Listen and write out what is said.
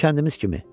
Bütün kəndimiz kimi.